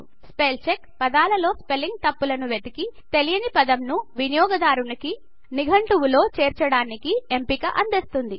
spell check పదాలలో spelling తప్పులను వెతికి తెలియని పదంను వినియోగదారుని నిఘంటువులో చేర్చడానికి ఎంపిక అందిస్తుంది